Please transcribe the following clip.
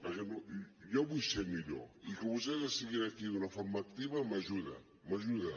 perquè jo vull ser millor i que vostès estiguin aquí d’una forma activa m’ajuda m’ajuda